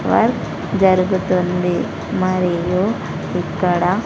Work జరుగుతుంది మరియు ఇక్కడ.